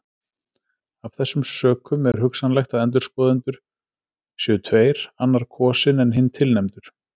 Af þessum sökum er hugsanlegt að endurskoðendur séu tveir annar kosinn en hinn tilnefndur.